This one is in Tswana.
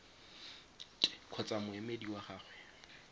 t kgotsa moemedi wa gagwe